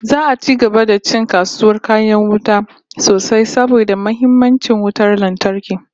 Za'a ci gaba da ci kasuwar kayan wuta sosai saboda muhimmancin wutar lantarki